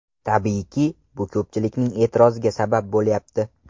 Tabiiyki, bu ko‘pchilikning e’tiroziga sabab bo‘lyapti.